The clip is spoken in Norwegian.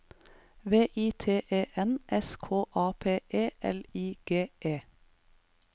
V I T E N S K A P E L I G E